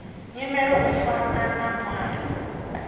nyimele u fana na muaro